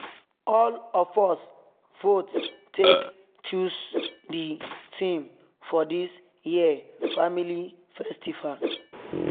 all of us vote take choose the theme for this year family festival